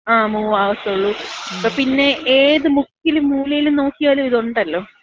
ങ്ങാ. മൂവ് ആവത്തൊള്ളൂ. പിന്നെ ഏത് മുക്കിലും മൂലയിലും നോക്കിയാലും ഇതൊണ്ടല്ലോ.